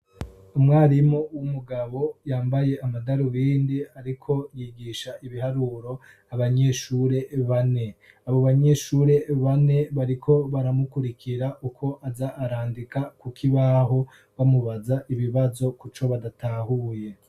Umwarimu w'umugabo yambaye amadarubindi ariko yigisha ibiharuro abanyeshure bane. Abo banyeshure bane bariko baramukurikira uko aza arandika ku kibaho, bamubaza ibibazo kuco badatahuye.